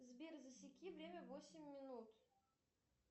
сбер засеки время восемь минут